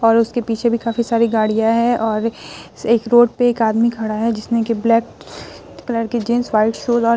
और उसके पीछे भी काफी सारी गाड़ियाँ है और एक रोड पे एक आदमी खड़ा है जिसने की ब्लैक कलर की जीन्स व्हाइट शूज और --